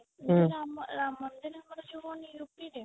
ରାମ ରାମ ଙ୍କର ଯଉ ହଉନି UP ରେ